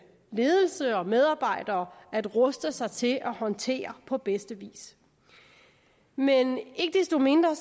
ledelse og medarbejdere at ruste sig til at håndtere på bedste vis men ikke desto mindre